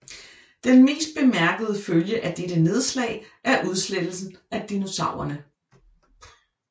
Den mest bemærkede følge af dette nedslag er udslettelsen af dinosaurerne